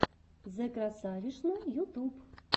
зэкрасавишна ютуб